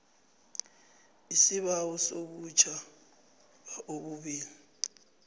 isibawo sobutjhaba obubili